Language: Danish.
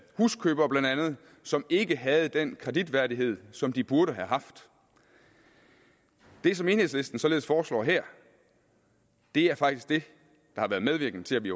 huskøbere som ikke havde den kreditværdighed som de burde have haft det som enhedslisten således foreslår her er faktisk det der har været medvirkende til at vi